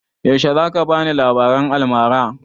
Yaushe za ka bani labaran almara?